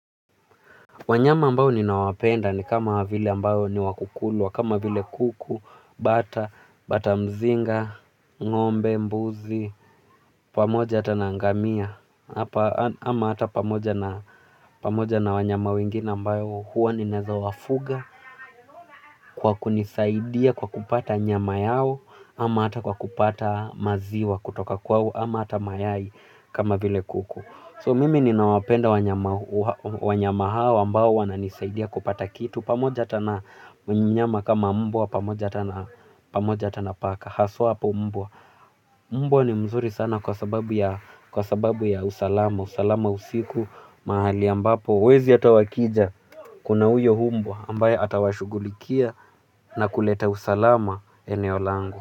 Wanyama ambao ninawapenda ni kama vile ambao ni wa kukulwa, kama vile kuku, bata, bata mzinga, ngombe, mbuzi, pamoja ata na ngamia, ama ata pamoja na wanyama wengine ambao huwa ninaeza wafuga, kwa kunisaidia kwa kupata nyama yao, ama ata kwa kupata maziwa kutoka kwao, ama ata mayai kama vile kuku. So mimi ninawapenda wanyama, wanyama hawa ambao wana nisaidia kupata kitu pamoja ata na mnyama kama mbwa pamoja ata na, pamoja ata na paka, haswa mbwa. Mbwa ni mzuri sana kwa sababu ya usalama, usalama usiku. Mahali ambapo wezi ata wakija kuna huyo mbwa ambaye atawashughulikia na kuleta usalama eneo langu.